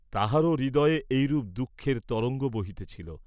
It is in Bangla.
তাঁহার হৃদয়েও এইরূপ দুঃখের তরঙ্গ বহিতেছিল!